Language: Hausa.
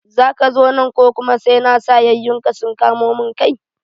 Zaka zo nan ko kuma sai na sa yayunka sun kamo mun kai?